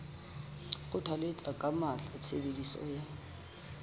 kgothalletsa ka matla tshebediso ya